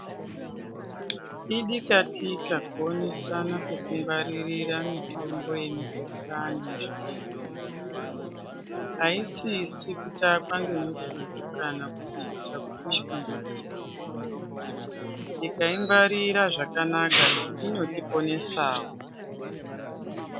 Idikatikatika kuonesana pekungwarira mitombo yemikuhlani aisisi kutakwa ngemututu kana kusisa kupishwa ngezuwa tikaingwarira zvakanaka inotiponesawo.